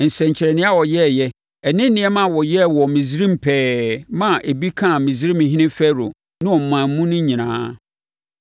nsɛnkyerɛnneɛ a ɔyɛeɛ ne nneɛma a wɔyɛɛ wɔ Misraim pɛɛ maa ebi kaa Misraimhene Farao ne ɔman mu no nyinaa.